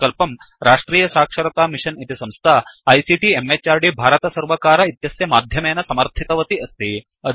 इमं प्रकल्पं राष्ट्रियसाक्षरतामिषन् इति संस्था आईसीटी म्हृद् भारतसर्वकार इत्यस्य माध्यमेन समर्थितवती अस्ति